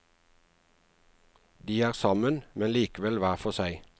De er sammen, men likevel hver for seg.